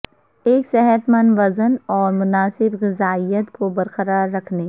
ایک صحت مند وزن اور مناسب غذائیت کو برقرار رکھنے